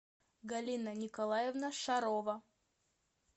галина николаевна шарова